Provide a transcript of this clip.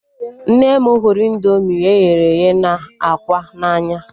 Nne m hụrụ indoomị eghere eghe na ákwà n'anya